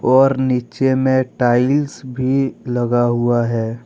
और नीचे में टाइल्स भी लगा हुआ है।